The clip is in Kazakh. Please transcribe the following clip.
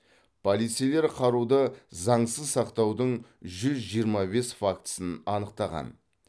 полицейлер қаруды заңсыз сақтаудың жүз жиырма бес фактісін анықтаған